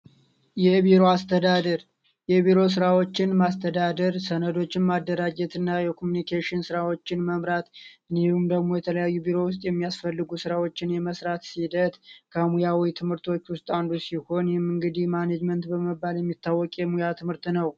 የቢሮ አስተዳደር የቢሮ ስራዎችን ማስተዳደር፣ በሰነዶችን ማደራጃ እና የኮሚኒኬሽን ስራዎችን መምራት እንዲሁም ደግሞ የተለያዩ በቢሮ ውስጥ የሚያስፈልጉ ስራዎችን የመስራት ሂደት ከሙያ ትምህርቶች ውስጥ አንዱ ሲሆን ይህም እንግዲህ ማኔጅመንት በመባል የሚታወቅ የሙያ ትምህርት ነው።